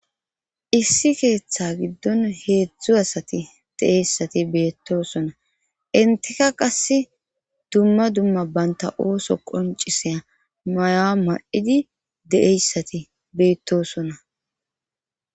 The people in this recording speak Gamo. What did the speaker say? Issi keeththa giddon heedzdzu asati de'eyssati beettosona inteka qase dumma dumma banta ooso qoncisea mayaa ma'idi deeyssati beettosona.